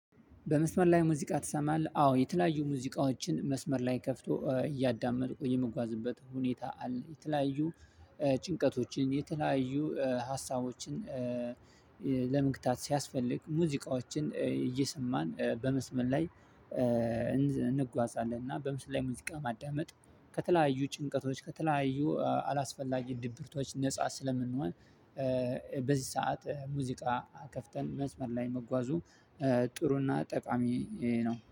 በመስመር ላይ ሙዚቃ ትሰማለህ? አዎ የተለያዩ ሙዚቃዎችን መስመር ላይ ከፍቶ እያዳመጥኩ የምጓዝበት ሁኔታ አለ። የተለያዩ ጭንቀቶችን የተለያዩ ሀሳቦችን። ለመግታት ሲያስፈልግ ሙዚቃዎችን እየሰማን በመስመር ላይ እንጓዛለን። እና በምስል ላይ ሙዚቃ ማዳመጥ ከተለያዩ ጭንቀቶች ከተለያዩ አላስፈላጊ ድብርቶች ነፃ ስለምንሆን። በዝህ ሰዓት ሙዚቃ ከፍተን መስመር ላይ መጓዙ ጥሩና ጠቃሚ ነው